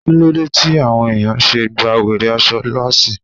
Kíló dé tí àwọn ẹ̀yàn ṣe gba wèrè aṣọ lásìì?